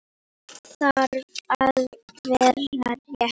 Allt þarf að vera rétt.